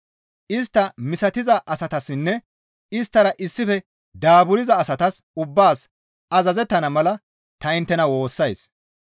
Istta misatiza asatassinne isttara issife daaburza asatas ubbaas azazettana mala ta inttena woossays.